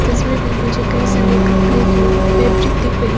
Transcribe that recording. तस्वीर में मुझे कई सारे कपड़े के फैब्रिक दिख रहे--